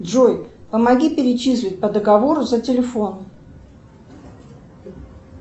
джой помоги перечислить по договору за телефон